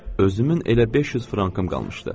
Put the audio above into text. Özümün elə 500 frankım qalmışdı.